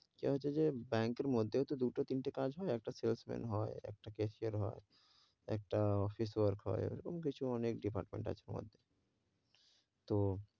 ইটা হচ্ছে যে ব্যাংকের মধ্যে তো দুটো, তিনতে কাজ হয়, একটা সেলস ম্যান হয়, একটা ক্যাশিয়ার হয়, একটা office work হয়, এরকম কিছু অনেক department আছে, ওর মধ্যে তো,